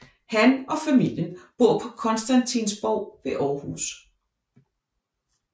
Han og familien bor på Constantinsborg ved Aarhus